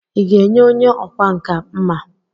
Ị ga-enye onye ọkwá nkà mma?